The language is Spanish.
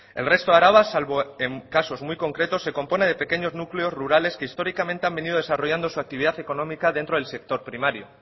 el resto de araba salvo en casos muy concretos se compone de pequeños núcleos rurales que históricamente han venido desarrollando su actividad económica dentro del sector primario